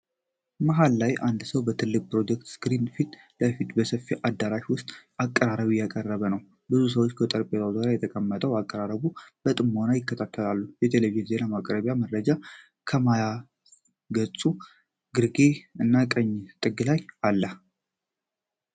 መሀል ላይ አንድ ሰው በትልቁ የፕሮጀክተር ስክሪን ፊት ለፊት በሰፊ አዳራሽ ውስጥ አቀራረብ እያቀረበ ነው። ብዙ ሰዎች በጠረጴዛዎች ዙሪያ ተቀምጠው አቀራረቡን በጥሞና ይከታተላሉ። የቴሌቪዥን ዜና ማቅረቢያ መረጃ ከማያ ገጹ ግርጌ እና ቀኝ ጥግ ላይ አለ።